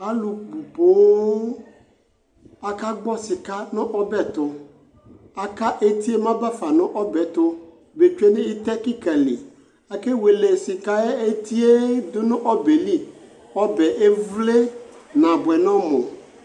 Alʋ bʋ poo akagbɔ sɩka nʋ ɔbɛ tʋ Aka eti yɛ mɛ aba fa nʋ ɔbɛ tʋ betsue nʋ ɩtɛ kɩka li Akewele sɩka yɛ eti yɛ dʋ nʋ ɔbɛ li Ɔbɛ yɛ evle nabʋɛ nʋ ɔmʋ